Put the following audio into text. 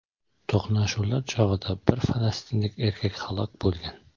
To‘qnashuvlar chog‘ida bir falastinlik erkak halok bo‘lgan.